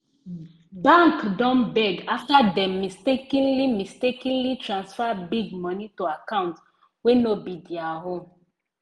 bank don beg afta dem mistakenly mistakenly transfer big money to account wey no be their own